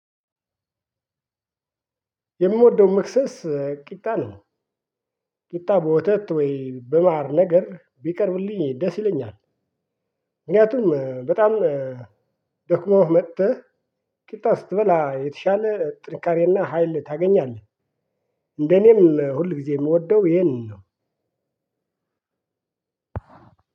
የምወደው መክሰስ ቂጣ ነው። ቂጣ በወተት ወይ በማር ነገር ቢቀርብልኝ ደስ ይለኛል። ምክንያቱም በጣም ደክሞህ መጥተህ ቂጣ ስትበላ የተሻለ ጥንካሬና ሀይል ታገኛለህ እንደኔም ሁል ጊዜ የምወደው ይሄንን ነው።